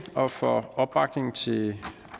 og for opbakningen til